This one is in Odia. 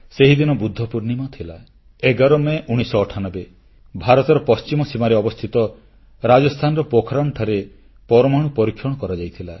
ସେହିଦିନ ବୁଦ୍ଧପୂର୍ଣ୍ଣିମା ଥିଲା 11 ମେ 1998 ଭାରତର ପଶ୍ଚିମ ସୀମାରେ ଅବସ୍ଥିତ ରାଜସ୍ଥାନର ପୋଖରାନଠାରେ ପରମାଣୁ ପରୀକ୍ଷଣ କରାଯାଇଥିଲା